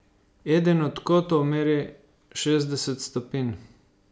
Eden od kotov meri šestdeset stopinj.